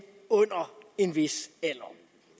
under en vis alder